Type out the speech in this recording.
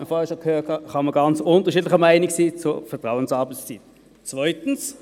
man hat das zuvor schon gehört – kann man ganz unterschiedlicher Meinung zur Vertrauens arbeitszeit sein.